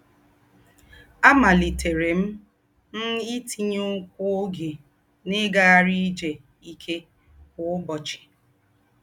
Àmálítéré m m ítínyékwú ógé n’ígághárí ìjé íké kwá ùbọ́chì